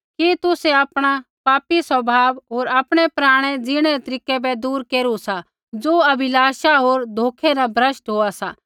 कि तुसै आपणा पापी स्वभाव होर आपणै पराणै जिणै रै तरीकै बै दूर केरू सा ज़ो अभिलाषा होर धोखै न भ्रष्ट हुआ सा